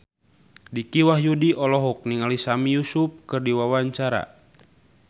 Dicky Wahyudi olohok ningali Sami Yusuf keur diwawancara